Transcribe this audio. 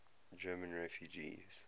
german refugees